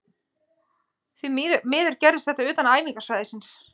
Því miður gerðist þetta utan æfingasvæðisins.